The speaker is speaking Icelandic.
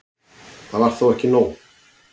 Það var þó ekki nóg.